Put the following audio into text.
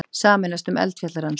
Sameinast um eldfjallarannsóknir